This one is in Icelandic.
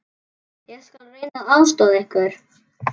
Ég skal reyna að aðstoða ykkur.